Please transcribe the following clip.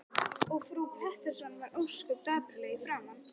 Og frú Pettersson varð ósköp dapurleg í framan.